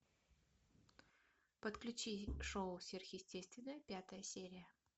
подключи шоу сверхъестественное пятая серия